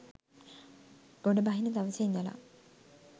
ගොඩබහින දවසේ ඉඳලා.